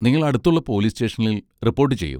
നിങ്ങൾ അടുത്തുള്ള പോലീസ് സ്റ്റേഷനിൽ റിപ്പോർട്ട് ചെയ്യൂ.